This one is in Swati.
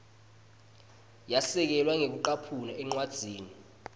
yasekelwa ngekucaphuna encwadzini